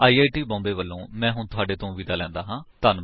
I I T Bombay ਵਲੋਂ ਮੈਂ ਹੁਣ ਤੁਹਾਡੇ ਤੋਂ ਵਿਦਾ ਲੈਂਦਾ ਹਾਂ